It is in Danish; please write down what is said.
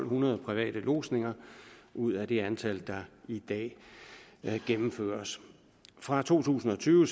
hundrede private lodsninger ud af det antal der i dag gennemføres fra to tusind og tyve